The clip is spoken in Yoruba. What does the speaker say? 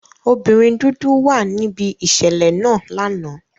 Obinrin dudu wa nibi iṣẹlẹ naa lana.